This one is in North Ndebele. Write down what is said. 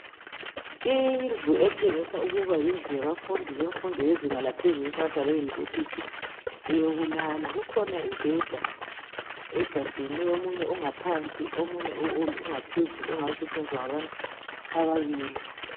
Indlu etshengisa ukuba yindlu yabafundi bemfundo yezinga laphezulu esingathi ngabeYunivesithi eyokulala kukhona imibheda egadeneyo omunye ungaphansi omunye ungaphezulu ongasetshenziswa ngabantu ababili.